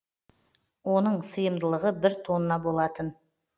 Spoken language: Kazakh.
оның сыйымдылығы бір тонна болатын